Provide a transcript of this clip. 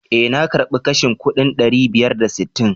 Eh, na karbi kashin kuɗin ɗari biyar da sittin.